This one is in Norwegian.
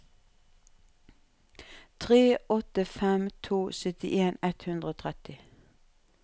tre åtte fem to syttien ett hundre og tretti